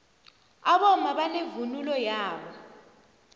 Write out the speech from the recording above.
abomma banevunulo yabo